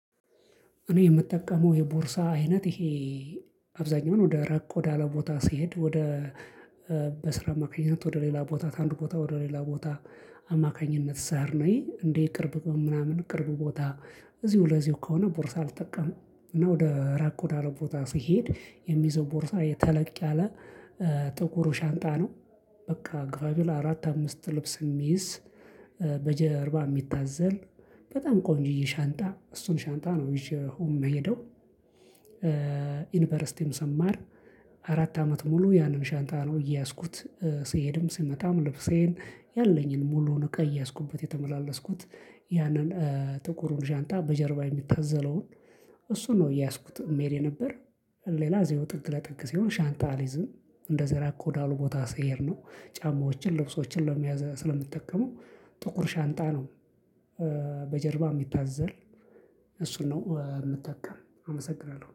እኔ የምጠቀመው የቦርሳ አይነት ይሄ አብዛኛውን ወደ ራቅ ወደ አለ ቦታ ሲሄድ ወደ በስራ አማካኝነት ወደ ሌላ ቦታ ከአንድ ቦታ ወደ ሌላ ቦታ አማካኝነት ስሄድ ነው እንዲ ቅርብ ምናምን ቅርብ ቦታ እዚሁ ለዚሁ ከሆነ ቦርሳ አልጠቀምም። እና ወደ ራቅ ወዳለ ቦታ ሲሄድ የምይዘው ቦርሳ ተለቅ ያለ ጥቁሩ ሻንጣ ነው። በቃ ግባቢል አራት አምስት ልብስ የሚይዝ በጀርባ የሚታዘል በጣም ቆንጅዬ ሻንጣ እሱን ሻንጣ ነው ይዤው የምሄደው። ዩኒቨርሲቲም ሰማር አራት አመት ሙሉ ያንን ሻንጣ ነው እየያዝኩት ሲሄድም ስመጣም ልብሴን ያለኝን ሙሉውን እቃ እየያዝኩበት የተመላለስኩት። ያንን ጥቁሩን ሻንጣ በጀርባ የሚታዘለውን እሱ ነው የያዝኩት ምሄድ የነበር። ሌላ እዚሁ ጥግ ለጥግ ሲሆን ሻንጣ አልይዝም። እንደዚ ራቅ ወዳሉ ቦታ ስሄድ ነው ጫማዎችን ልብሶችን ለመያዝ ስለሚጠቀመው ጥቁር ሻንጣ ነው። በጀርባ የሚታዘል እሱን ነው የምጠቀም አመሰግናለሁ